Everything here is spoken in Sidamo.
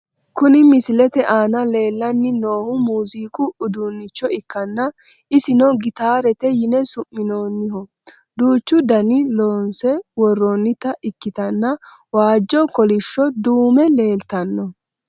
Kuni misilete aana leellanni noohu muuziiqu uduunnicho ikkanna isino gitaarete yine su'minoonniho , duuchu daninni loonse worroonnita ikkitanna waajjo, kolishsho, duume leeltanno.